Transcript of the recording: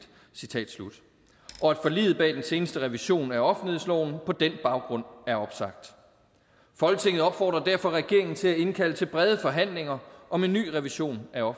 og at forliget bag den seneste revision af offentlighedsloven på den baggrund er opsagt folketinget opfordrer derfor regeringen til at indkalde til brede forhandlinger om en ny revision af